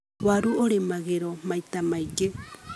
Waru ũrĩmagĩrwo maita maingĩ.